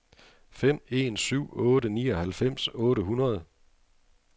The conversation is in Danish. fem en syv otte nioghalvfems otte hundrede